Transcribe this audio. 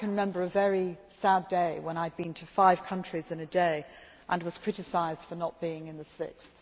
I can remember a very sad day when I had been to five countries in a day and was criticised for not being in the sixth.